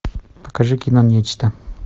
покажи кино нечто